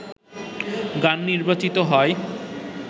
গান নির্বাচিত হয়